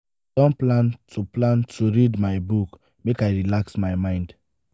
i don plan to plan to read my book make i relax my mind.